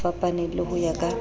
fapaneng le ho ya ka